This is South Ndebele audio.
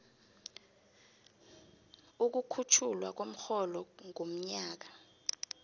ukukhutjhulwa komrholo ngomnyaka